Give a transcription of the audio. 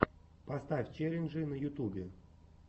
поставь челленджи на ютубе